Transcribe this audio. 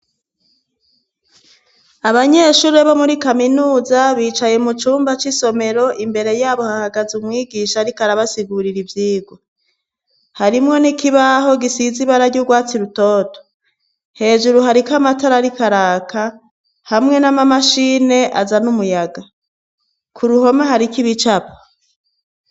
Abanyeshure bo muri kaminuza bicaye mu cumba c'isomero imbere yabo hahagaze umwigisha ariko arabasigurira ivyigwa harimwo n'ikibaho gisize ibara ry'ugwatsi rutoto hejuru hariko amatara ariko araka hamwe n'amamashine azana umuyaga ku ruhome hariko ibicapo.